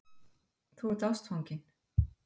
Þú ert ástfanginn.